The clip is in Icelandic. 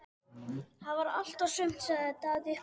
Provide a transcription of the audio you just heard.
Það var allt og sumt, sagði Daði upphátt.